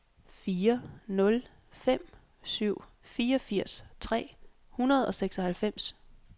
fire nul fem syv fireogfirs tre hundrede og seksoghalvfems